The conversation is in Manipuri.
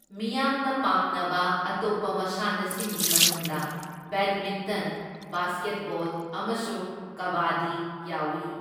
ꯃꯤꯌꯥꯝꯅ ꯄꯥꯝꯅꯕ ꯑꯇꯣꯞꯄ ꯃꯁꯥꯟꯅꯁꯤꯡꯒꯤ ꯃꯅꯨꯡꯗ ꯕꯦꯗꯃꯤꯟꯇꯟ, ꯕꯥꯁꯀꯦꯠꯕꯣꯜ ꯑꯃꯁꯨꯡ ꯀꯕꯥꯗꯤ ꯌꯥꯎꯏ꯫